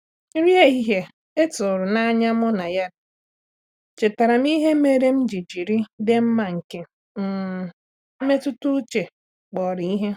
Nri ehihie e tụrụ n’anya mụ na ya riri chetaara m ihe mere m ji jiri ịdị mma nke um nmetụta uche kpọrọ ihe.